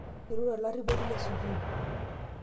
irure olarriponi le sukuul